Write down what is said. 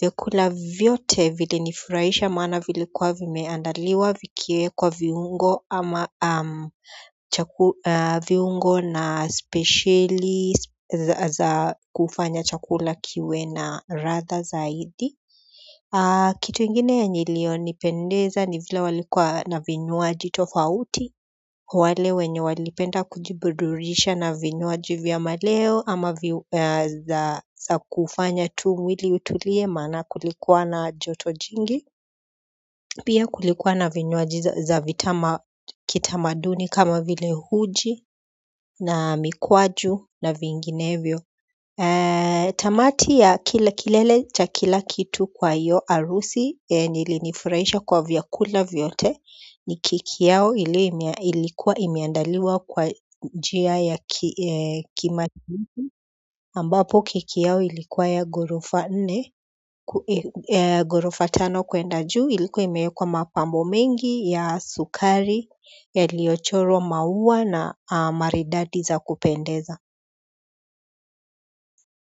vyakula vyote vilinifurahisha maana vilikuwa vimeandaliwa vikiwekwa viungo ama viungo na speceli za kufanya chakula kiwe na ladha zaidi. Kitu ingine yenye iliyonipendeza ni vile walikuwa na vinywaji tofauti wale wenye walipenda kujiburudisha na vinywaji vya maleo ama za kufanya tu mwili utulie maana kulikuwa na joto jingi pia kulikuwa na vinyuaji za vitama kitamaduni kama vile uji na mikwaju na vinginevyo. Tamati ya kile kilele cha kila kitu kwa hiyo harusi yenye ilinifurahisha kwa vyakula vyote ni keki yao ilikuwa imeandaliwa kwa njia ya kima ambapo keki yao ilikuwa ya gorufa nne gorufa tano kuenda juu ilikuwa imewekwa mapambo mengi ya sukari yaliyochorwa maua na maridadi za kupendeza.